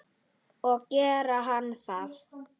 Og gerði hann það?